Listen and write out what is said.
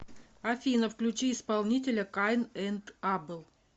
афина включи исполнителя кайн энд абел